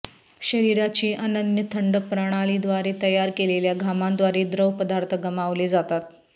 शरीराची अनन्य थंड प्रणालीद्वारे तयार केलेल्या घामांद्वारे द्रवपदार्थ गमावले जातात